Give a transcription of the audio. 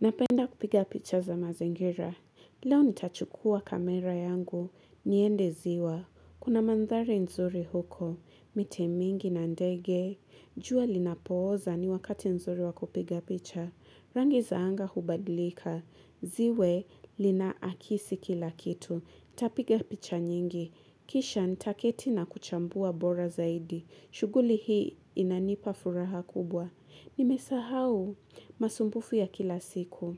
Napenda kupiga picha za mazingira. Leo nitachukua kamera yangu. Niende ziwa. Kuna mandhari nzuri huko. Miti mingi na ndege. Jua linapooza ni wakati nzuri wako kupiga picha. Rangi za anga hubadlika. Ziwe lina akisi kila kitu. Tapiga picha nyingi. Kisha nitaketi na kuchambua bora zaidi. Shuguli hii inanipa furaha kubwa. Nimesahau. Masumbufu ya kila siku